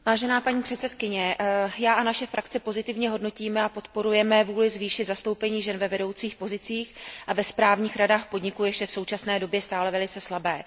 Paní předsedající, já a naše frakce pozitivně hodnotíme a podporujeme vůli zvýšit zastoupení žen ve vedoucích pozicích a ve správních radách podniků, jež je v současné době stále velice slabé.